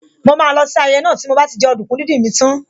Mo máa má lọ sí ayẹyẹ náà tí mo bá ti jẹ ọdùkún díndín mi tán